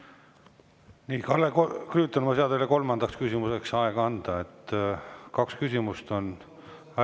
Nii, Kalle Grünthal, ma ei saa teile kolmandaks küsimuseks aega anda, sest kaks küsimust on.